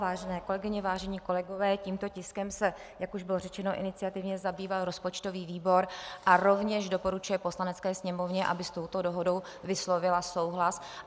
Vážené kolegyně, vážení kolegové, tímto tiskem se, jak už bylo řečeno, iniciativně zabýval rozpočtový výbor a rovněž doporučuje Poslanecké sněmovně, aby s touto dohodou vyslovila souhlas.